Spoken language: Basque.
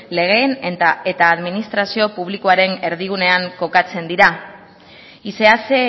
legeen eta administrazio publikoaren erdigunean kokatzen dira y se hace